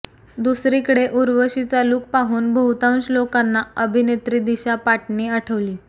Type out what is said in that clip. दुसरीकडे उर्वशीचा लुक पाहून बहुतांश लोकांना अभिनेत्री दिशा पाटनी आठवली